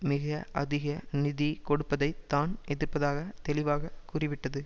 மிக அதிக நிதி கொடுப்பதைத் தான் எதிர்ப்பதாக தெளிவாக கூறிவிட்டது